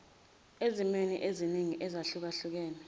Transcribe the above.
ezimweni eziningi ezahlukahlukene